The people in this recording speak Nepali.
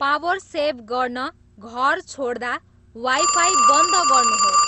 पावर सेभ गर्न घर छोड्दा वाईफाई बन्द गर्नुहोस्